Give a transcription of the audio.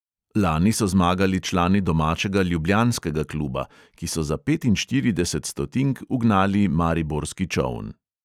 Lani so zmagali člani domačega ljubljanskega kluba, ki so za petinštirideset stotink ugnali mariborski čoln.